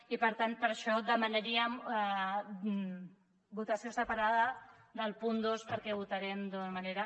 i per tant per això demanaríem votació separada del punt dos per·què hi votarem d’una manera